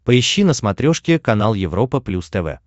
поищи на смотрешке канал европа плюс тв